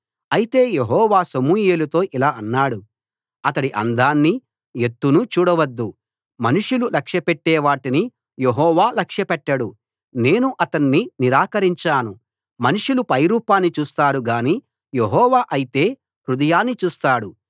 అయితే యెహోవా సమూయేలుతో ఇలా అన్నాడు అతడి అందాన్నీ ఎత్తునూ చూడవద్దు మనుషులు లక్ష్యపెట్టే వాటిని యెహోవా లక్ష్యపెట్టడు నేను అతణ్ణి నిరాకరించాను మనుషులు పైరూపాన్ని చూస్తారు గానీ యెహోవా అయితే హృదయాన్ని చూస్తాడు